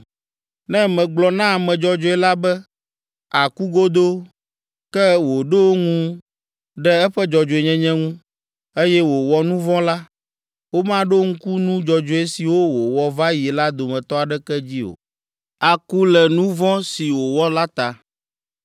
Ne megblɔ na ame dzɔdzɔe la be aku godoo, ke wòɖo ŋu ɖe eƒe dzɔdzɔenyenye ŋu, eye wòwɔ nu vɔ̃ la, womaɖo ŋku nu dzɔdzɔe siwo wòwɔ va yi la dometɔ aɖeke dzi o; aku le nu vɔ̃ si wòwɔ la ta.